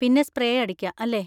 പിന്നെ സ്പ്രേ അടിക്കാ, അല്ലേ?